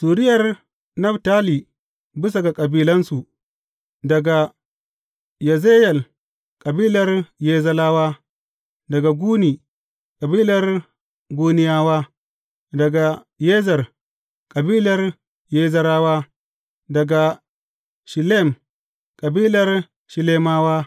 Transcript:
Zuriyar Naftali bisa ga kabilansu, daga Yazeyel, kabilar Yazeyelawa; daga Guni, kabilar Guniyawa; daga Yezer, kabilar Yezerawa; daga Shillem, kabilar Shillemawa.